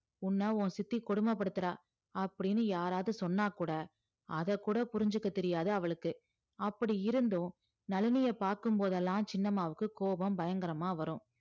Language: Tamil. உன்ன உன் சித்தி கொடுமைப்படுத்துறா அப்படீன்னு யாராவது சொன்னா கூட அதக்கூட புரிஞ்சுக்க தெரியாது அவளுக்கு அப்படி இருந்தும் நளினிய பார்க்கும் போதெல்லாம் சின்னம்மாவுக்கு கோபம் பயங்கரமா வரும்